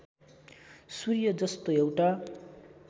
सूर्य जस्तो एउटा